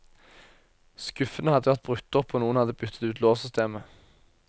Skuffene hadde vært brutt opp og noen hadde byttet ut låssystemet.